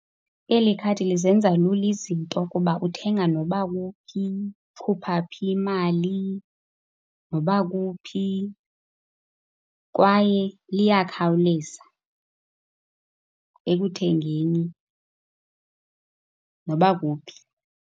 Eli khadi lizenza lula izinto kuba uthenga noba kuphi. Khupha phi imali noba kuphi. Kwaye liyakhawuleza ekuthengeni noba kuphi.